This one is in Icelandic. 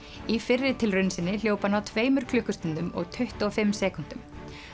í fyrri tilraun sinni hljóp hann á tveimur klukkustundum og tuttugu og fimm sekúndum